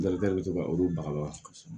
Darika de bɛ to ka olu baga